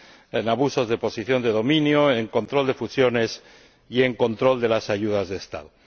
en abusos de posición de dominio, en control de fusiones y en control de las ayudas de Estado.